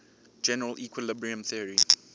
general equilibrium theory